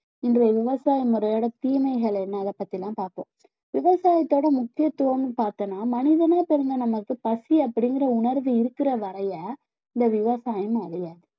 இன்றைய விவசாய முறையோட தீமைகள் என்ன அதை பத்திதான் பார்ப்போம் விவசாயத்தோட முக்கியத்துவம்னு பார்த்தோம்னா மனிதனா பிறந்த நமக்கு பசி அப்படிங்கிற உணர்வு இருக்கிற வரைய இந்த விவசாயம் அழியாது